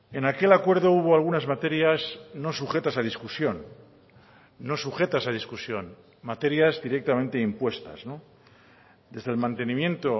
en aquel acuerdo hubo algunas materias no sujetas a discusión no sujetas a discusión materias directamente impuestas desde el mantenimiento